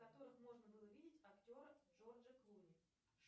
в которых можно было видеть актера джорджа клуни